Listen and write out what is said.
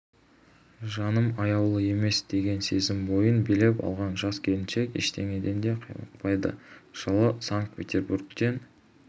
жаным аяулы емес деген сезім бойын билеп алған жас келіншек ештеңеден де қаймықпайды жылы санкт-петербургтен